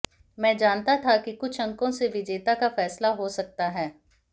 मैं जानता था कि कुछ अंकों से विजेता का फैसला हो सकता है